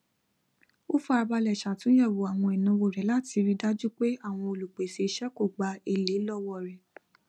ó fárá balẹ ṣàtúnyẹwò àwọn ìnáwó rẹ láti rí i dájú pé àwọn olùpèsè iṣẹ kò gba elé lọwọ rẹ